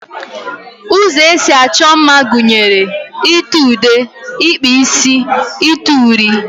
Ụzọ esi achọ mma gụnyere: ite ude, ịkpa isi, ite uri wdg.